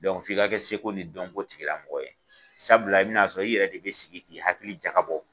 f'i ka kɛ seko ni dɔnko tigilamɔgɔ ye sabula i bɛn'a sɔrɔ i yɛrɛ de bɛ i sigi k'i hakili jagabɔ